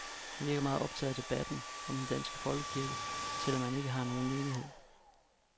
Han virker meget optaget af debatten om den danske folkekirke, selv om han ikke har nogen menighed.